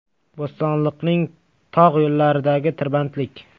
Bo‘stonliqning tog‘ yo‘llaridagi tirbandlik.